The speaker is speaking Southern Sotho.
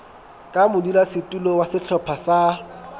ka modulasetulo wa sehlopha sa